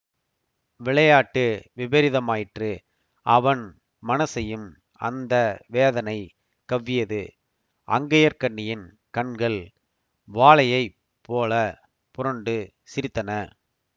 விளையாட்டு விபரீதமாயிற்று அவன் மனசையும் அந்த வேதனை கவ்வியது அங்கயற்கண்ணியின் கண்கள் வாளையைப் போல புரண்டு சிரித்தன